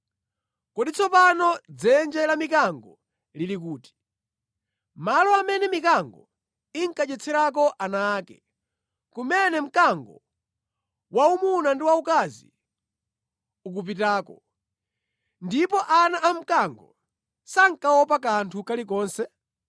Kodi tsopano dzenje la mikango lili kuti, malo amene mikango inkadyetserako ana ake, kumene mkango waumuna ndi waukazi unkapitako, ndipo ana a mkango sankaopa kanthu kalikonse?